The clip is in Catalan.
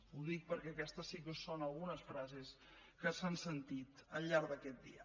ho dic perquè aquestes sí que són algunes frases que s’han sentit al llarg d’aquest dia